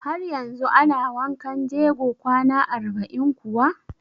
Har yanzu ana wankan jego kwana arba'in kuwa?